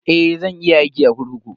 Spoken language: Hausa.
Eh, zan iya aiki a kurkuku.